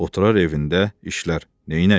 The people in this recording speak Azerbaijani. Oturar evində, işlər, neylək?